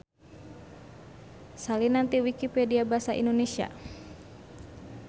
Salinan ti Wikipedia basa Indonesia.